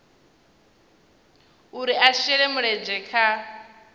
uri a shele mulenzhe kha